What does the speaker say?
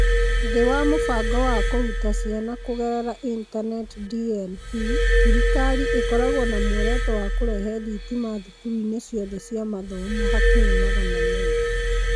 Thĩĩ wa Mũbango wa Kũruta Ciana Kũgerera Intaneti (DLP), thirikari ĩkoragwo na muoroto wa kũrehe thitima thukuruinĩ ciothe cia mathomo (hakuhĩ magana meerĩ).